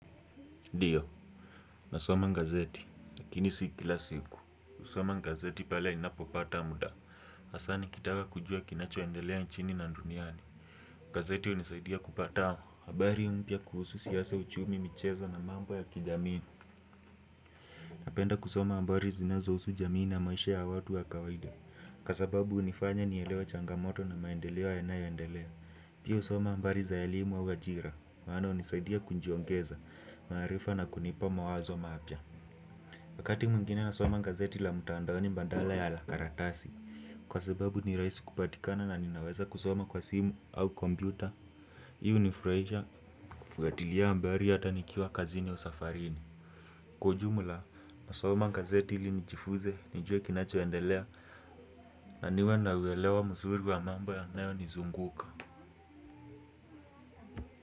Ndiyo, nasoma gazeti, lakini si kila siku, husoma gazeti pale inapopata muda. Hasa nikitaka kujua kinachoendelea nchini na duniani gazeti hunisaidia kupata habari mpya kuhusu siasa, uchumi, michezo na mambo ya kijamii napenda kusoma habari zinazo husu jamii na maisha ya watu ya kawaida kwa sababu hunifanya nielewe changamoto na maendeleo yanayoendelea. Pia husoma habari za elimu za ajira maano hunisaidia kunjiongeza, maarifa na kunipa mawazo mapya wakati mwingine nasoma gazeti la mtandaoni badala ya la karatasi. Kwa sababu ni rahisi kupatikana na ninaweza kusoma kwa simu au kompyuta. Hii hunifurahisha kufuatilia habari hata nikiwa kazini au safarini kwa jumla nasoma gazeti ilinijifunze, nijue kinachoendelea na niwe naelewa mzuri wa mambo yanayonizunguka.